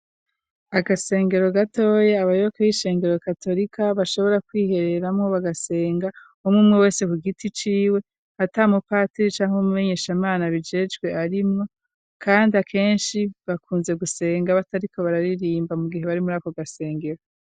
Agasengero gatoyi abayoboke b'ishengero katolika bashobora kwihereramo bagasenga, umwe umwe wese ku giti ciwe, atamupatiri canke umumenyeshamana abijejwe arimwo, kandi akenshi bakunze gusenga batariko bararirimba mu gihe bari murako gasengero.